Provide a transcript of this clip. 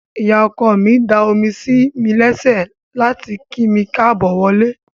Ìyá ọkọ mi da omi sí mi lẹ́sẹ̀ láti kí mi káàbọ̀ wọlé.